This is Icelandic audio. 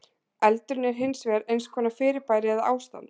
Eldurinn er hins vegar eins konar fyrirbæri eða ástand.